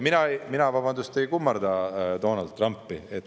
Mina, vabandust, ei kummarda Donald Trumpi.